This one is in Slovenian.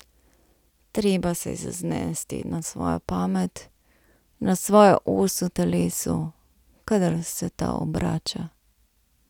Treba se je zanesti na svojo pamet, na svojo os v telesu, kadar se ta obrača.